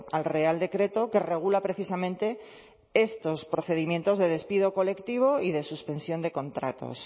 al real decreto que regula precisamente estos procedimientos de despido colectivo y de suspensión de contratos